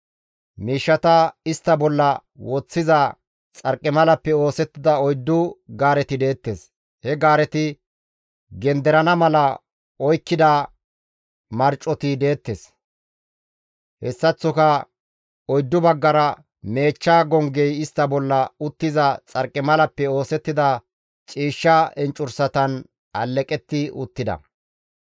Miishshata istta bolla woththiza xarqimalappe oosettida oyddu gaareti deettes; he gaareti genderana mala oykkida marcoti deettes; hessaththoka oyddu baggara meechcha gonggey istta bolla uttiza xarqimalappe oosettida ciishsha enccursatan alleqetti uttida.